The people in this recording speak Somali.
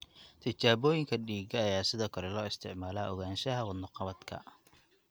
Tijaabooyinka dhiigga ayaa sidoo kale loo isticmaalaa ogaanshaha wadno-qabadka.